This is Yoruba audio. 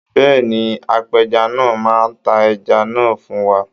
Bẹ́ẹ̀ni, apẹja náà máa ta ẹja náà fún wa.